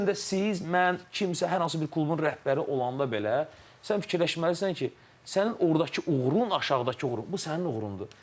Bu gün də siz, mən, kimsə, hər hansı bir klubun rəhbəri olanda belə, sən fikirləşməlisən ki, sənin ordakı uğurun, aşağıdakı uğurun, bu sənin uğurundur.